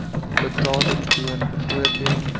betaling toon byvoorbeeld